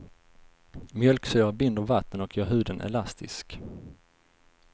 Mjölksyra binder vatten och gör huden elastisk.